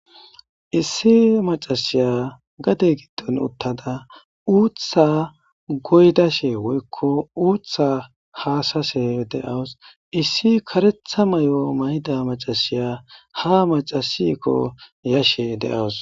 Issi macashiya gade giddon uttada uutha goydashe woykko uuththa haashashe de7awus. Issi karetha mayo mayida macasiya ha macasheekko yashe de7awus.